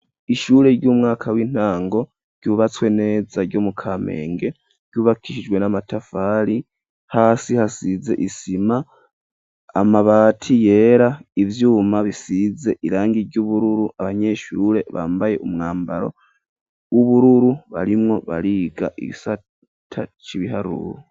Ishure ry'umwaka w'intango, ryubatswe neza ryo mu Kamenge, ryubakishijwe n'amatafari ,hasi hasize isima, amabati yera, ivyuma bisize irangi ry'ubururu, abanyeshure bambaye umwambaro w'ubururu barimwo bariga igisata c'ibiharuru.